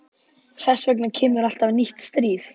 Þess vegna kemur alltaf nýtt stríð.